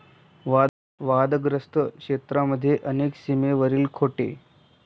वादग्रस्त क्षेत्रामध्ये अनेक सीमेवरील खोटे.